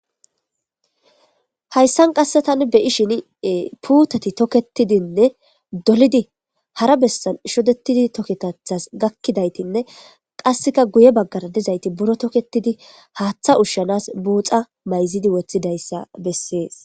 hayssan qasse tani beyi shin puutati toketidinne dolidi hara bessan shodetidi toketathas gakkidaytinne qasseka guye baggara dizayti buro toketidi haaththa ushshanas buuxa mayzidi woththidayssa bessees